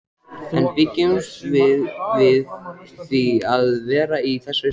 En bjuggumst við við því að vera í þessari stöðu?